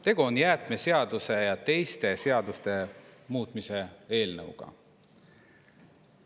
Tegu on jäätmeseaduse ja teiste seaduste muutmise eelnõuga.